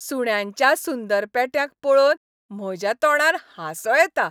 सुण्यांच्या सुंदर पेट्यांक पळोवन म्हज्या तोंडार हांसो येता.